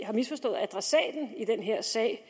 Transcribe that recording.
har misforstået adressaten i den her sag